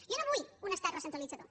jo no vull un estat recentralitzador